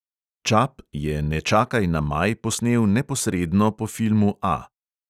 Čap je ne čakaj na maj posnel neposredno po filmu A.